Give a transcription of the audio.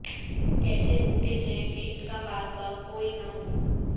کیسے ممکن ہے کہ ان کا پاسباں کوئی نہ ہو